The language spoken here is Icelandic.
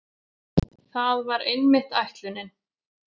Það var einmitt ætlunin.